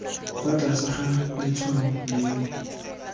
fa tlase ga letshwao leno